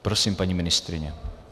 Prosím, paní ministryně.